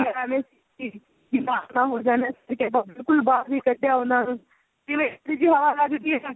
ਜ਼ੁਕਾਮ ਨਾ ਹੋ ਜਾਨ ਕਿਤੇ ਬਿਲਕੁਲ ਬਾਹਰ ਨਹੀਂ ਕੱਢਿਆ ਉਹਨਾ ਨੂੰ ਜਿਵੇਂ ਥੋੜੀ ਜਿਹੀ ਹਵਾ ਲੱਗ ਗਈ